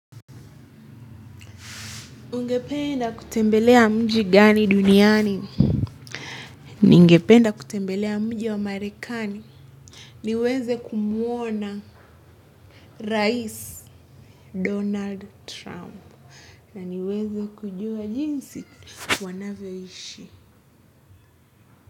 Ungependa kutembelea mji gani duniani? Ningependa kutembelea mji wa Marekani, niweze kumwona rais. Donald Trump, na niweze kujua jinsi wanavyoishi.